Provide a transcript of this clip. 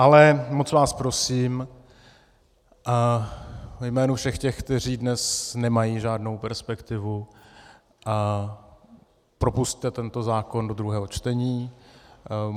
Ale moc vás prosím ve jménu všech těch, kteří dnes nemají žádnou perspektivu, propusťte tento zákon do druhého čtení.